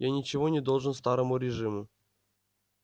я ничего не должен старому режиму